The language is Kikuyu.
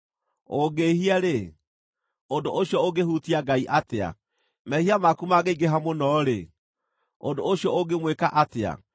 Ũngĩĩhia-rĩ, ũndũ ũcio ũngĩhutia Ngai atĩa? Mehia maku mangĩingĩha mũno-rĩ, ũndũ ũcio ũngĩmwĩka atĩa?